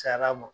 Cayara a ma